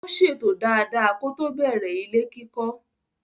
Ó ṣètò dada kótó bẹ̀rẹ̀ ilé kíkọ́.